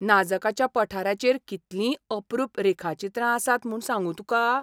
नाजकाच्या पठाराचेर कितलीं अप्रूप रेखाचित्रां आसात म्हूण सांगू तुका!